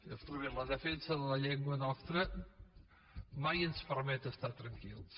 senyor strubell la defensa de la llengua nostra mai ens permet estar tranquils